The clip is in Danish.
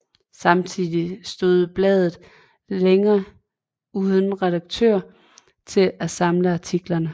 Samtidigt stod bladet længe uden redaktør til at samle artiklerne